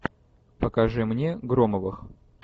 покажи мне громовых